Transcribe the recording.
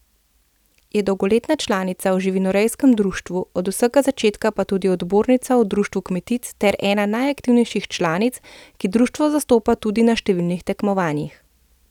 Je dolgoletna članica v živinorejskem društvu, od vsega začetka pa tudi odbornica v društvu kmetic ter ena najaktivnejših članic, ki društvo zastopa tudi na številnih tekmovanjih.